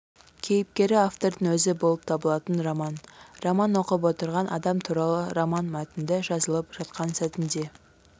кейіпкері автордың өзі болып табылатын роман роман оқып отырған адам туралы роман мәтінді жазылып жатқан сәтінде